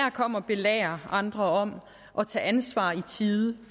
at komme og belære andre om at tage ansvar i tide